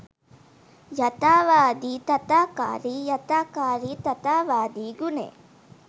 යථාවාදි තථාකාරි යථාකාරි තථාවාදි ගුණයයි.